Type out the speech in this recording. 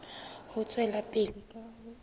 ho tswela pele ka ho